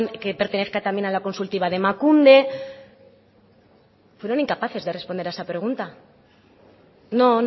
que pertenezca también a la consultiva de emakunde fueron incapaces de responder a esa pregunta no